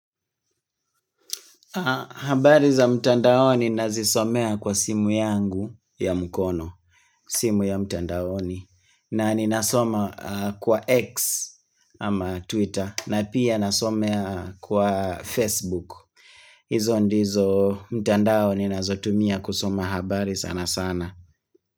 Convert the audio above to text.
Habari za mtandaoni nazisomea kwa simu yangu ya mkono, simu ya mtandaoni. Na ninasoma kwa X ama Twitter na pia na soma kwa Facebook. Izo ndizo mtandao ninazotumia kusoma habari sana sana.